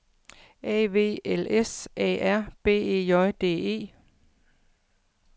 A V L S A R B E J D E